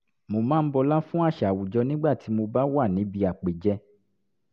mo máa ń bọlá fún àṣà àwùjọ nígbà tí mo bá wà níbi àpèjẹ